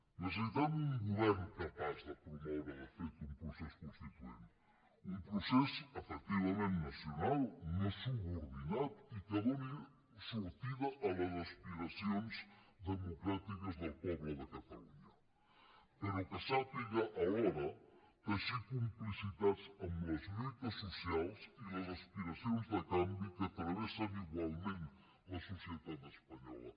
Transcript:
necessitem un govern capaç de promoure de fet un procés constituent un procés efectivament nacional no subordinat i que doni sortida a les aspiracions democràtiques del poble de catalunya però que sàpiga alhora teixir complicitats amb les lluites socials i les aspiracions de canvi que travessen igualment la societat espanyola